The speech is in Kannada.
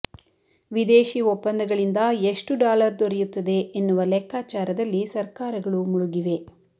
ವಿದೇಶೀ ಒಪ್ಪಂದಗಳಿಂದ ಎಷ್ಟು ಡಾಲರ್ ದೊರೆಯುತ್ತದೆ ಎನ್ನುವ ಲೆಕ್ಕಾಚಾರದಲ್ಲಿ ಸರ್ಕಾರಗಳು ಮುಳುಗಿವೆ